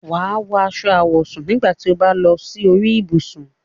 Wà á wọ aṣọ àwọ̀sùn nígbà tí o bá ń lọ sí orí ibùsùn.